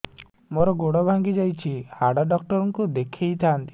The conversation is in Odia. ମୋର ଗୋଡ ଭାଙ୍ଗି ଯାଇଛି ହାଡ ଡକ୍ଟର ଙ୍କୁ ଦେଖେଇ ଥାନ୍ତି